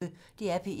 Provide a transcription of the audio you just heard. DR P1